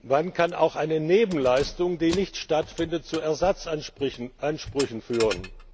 Wann kann auch eine Nebenleistung, die nicht stattfindet, zu Ersatzansprüchen führen?